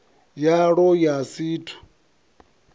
yalwo ya si t ut